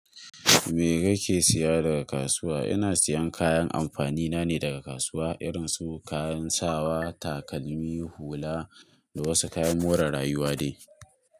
Me kake siya daga kasuwa? Ina siyan kayan amfanina ne daga kasuwa, irin su kayan sawa, takalmi, hula, da wasu kayan more rayuwa dai.